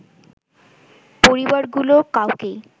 পরিবারগুলো কাউকেই